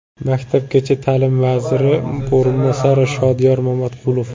Maktabgacha ta’lim vaziri o‘rinbosari Shodiyor Mamatqulov.